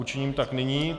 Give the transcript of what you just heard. Učiním tak nyní.